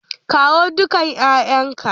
Kawo dukan 'ya'yanka!